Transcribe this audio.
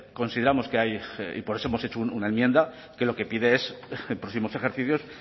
consideramos que hay y por eso hemos hecho una enmienda que lo que pide es en próximos ejercicios